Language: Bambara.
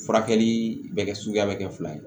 Furakɛli bɛ kɛ suguya bɛ kɛ fila ye